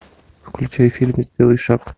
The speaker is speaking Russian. включай фильм сделай шаг